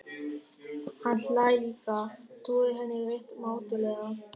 Hann hlær líka, trúir henni rétt mátulega.